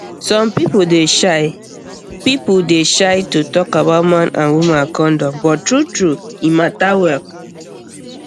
some people dey shy people dey shy to talk about man and woman condom but truetrue e matter well